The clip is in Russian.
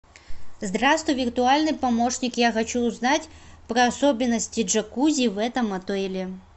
здравствуй виртуальный помощник я хочу узнать про особенности джакузи в этом отеле